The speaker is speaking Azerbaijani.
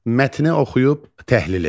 Mətni oxuyub təhlil edin.